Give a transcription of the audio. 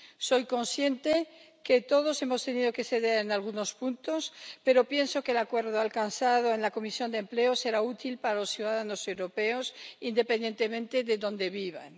Soy consciente de que todos hemos tenido que ceder en algunos puntos, pero pienso que el acuerdo alcanzado en la Comisión de Empleo será útil para los ciudadanos europeos, independientemente de dónde vivan.